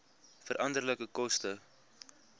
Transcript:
veranderlike koste